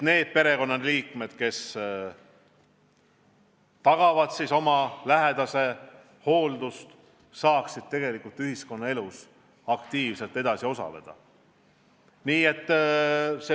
Perekonnaliikmed, kes peavad oma lähedase eest hoolitsema, peavad saama ühiskonnaelus aktiivselt edasi osaleda.